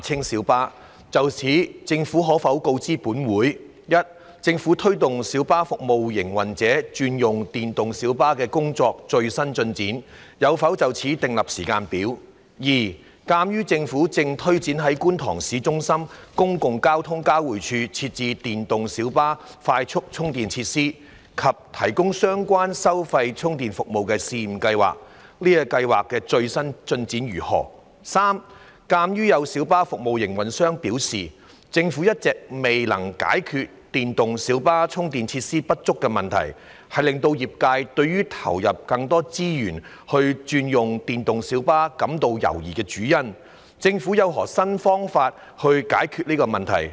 就此，政府可否告知本會：一政府推動小巴服務營運者轉用電動小巴的工作的最新進展；有否就此制訂時間表；二鑒於政府正推展在觀塘市中心公共運輸交匯處設置電動小巴快速充電設施及提供相關收費充電服務的試驗計劃，該計劃的最新進展為何；及三鑒於有小巴服務營運者表示，政府一直未能解決電動小巴充電設施不足的問題，是令業界對投入更多資源轉用電動小巴感到猶疑的主因，政府有何新方法解決此問題？